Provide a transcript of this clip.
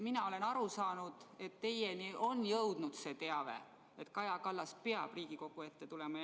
Mina olen aru saanud, et teieni on jõudnud teave, et Kaja Kallas peab Riigikogu ette tulema.